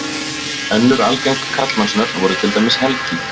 önnur algeng karlmannsnöfn voru til dæmis helgi